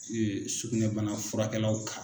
sugunɛbana furakɛlaw kan.